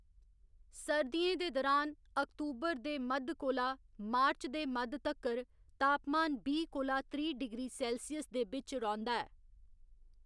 सर्दियों दे दुरान अक्टूबर दे मद्ध कोला मार्च दे मद्ध तक्कर तापमान बीह् कोला त्रीह् डिग्री सेल्सियस दे बिच्च रौंह्दा ऐ।